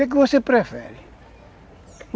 O que que você prefere?